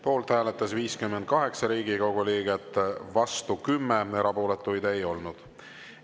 Poolt hääletas 58 Riigikogu liiget, vastu 10, erapooletuid ei olnud.